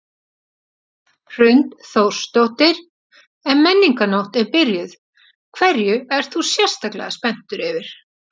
Hrund Þórsdóttir: En Menningarnótt er byrjuð, hverju ert þú sérstaklega spenntur yfir?